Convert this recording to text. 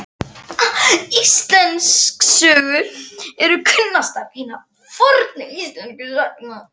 Íslendingasögur eru kunnastar hinna fornu íslensku sagna.